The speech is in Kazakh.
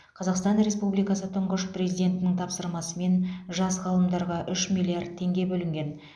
қазақстан республикасы тұңғыш президентінің тапсырмасымен жас ғалымдарға үш миллиард теңге бөлінген